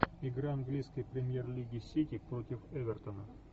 игра английской премьер лиги сити против эвертона